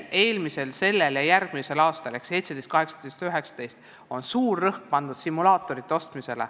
Eelmisel, sellel ja järgmisel aastal ehk 2017, 2018 ja 2019 on suur rõhk olnud ja on simulaatorite ostmisel.